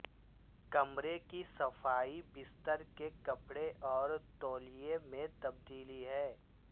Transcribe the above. کمرے کی صفائی بستر کے کپڑے اور تولیے میں تبدیلی ہے